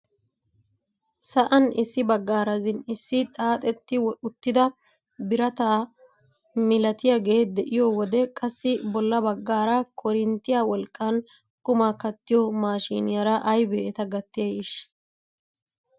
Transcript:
Sa'an issi baggaara zin"isi xaaxetti uttida birataa milatiyaagee de'iyo wode qassi bolla baggaara korinttiyaa wolqqan qumaa kattiyo mashiniyaara aybee eta gattiyay eshi!